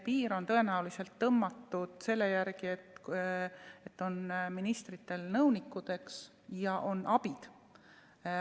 Piir on tõenäoliselt tõmmatud selle järgi, et ministritel on nõunikud ja on abid.